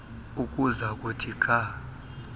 ukuza kuthi ga